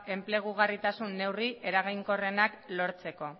enplegugarritasun neurri eraginkorrenak lortzeko